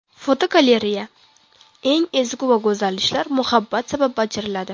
Fotogalereya: Eng ezgu va go‘zal ishlar muhabbat sabab bajariladi.